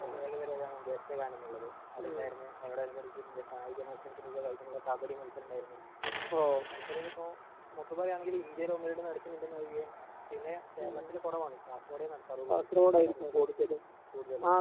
പ്രതേക പരുപാടി ആണ് ഗാനം എന്നുള്ളത് അത് ണ്ടായിരുന്ന് അതിനോട് അനുബന്ധിച് ന്ത് കായിക മത്സരത്തിന്റെ ഒക്കെ ഒരു ഐറ്റം ഉള്ള കബഡി മത്സരം ണ്ടായിരുന്നു മത്സര ഇത് ഇപ്പൊ മൊത്തം പറയണേൽ ഇന്ത്യയിൽ ഒന്ന് രണ്ട് നടക്കണ്ട് ഒഴിഗേ പിന്നെ കേരളത്തില് കൊറവാണ് കാസർകോടേ നടക്കാറുള്ളു കൂടുതല്